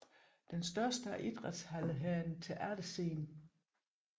Den største af idrætshallerne har en teaterscene